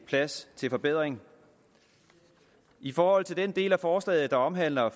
plads til forbedring i forhold til den del af forslaget der omhandler